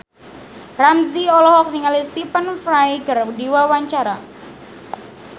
Ramzy olohok ningali Stephen Fry keur diwawancara